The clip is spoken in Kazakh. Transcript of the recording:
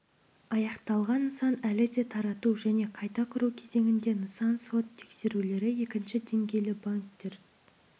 аяқталған нысан әлі де тарату және қайта құру кезеңінде нысан сот тексерулері екінші деңгейлі банктер